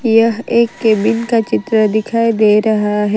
यह एक केबिन का चित्र दिखाई दे रहा है।